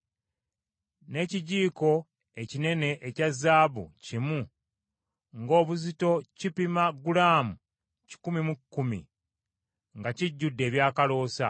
n’ekijiiko ekinene ekya zaabu kimu ng’obuzito kipima gulaamu kikumi mu kkumi, nga kijjudde ebyakaloosa;